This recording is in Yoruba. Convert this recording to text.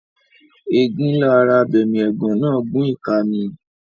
Ẹ̀gún ńlá ara abẹmiẹ̀gán náà gún ìka mi.